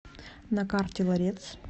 на карте ларец